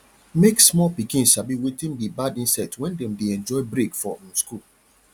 make small pikin sabi wetin be bad insect when dem dey enjoy break for um school